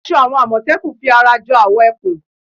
Aṣọ àwọn àmọ̀tẹ́kùn fi ara jọ awọ ẹkùn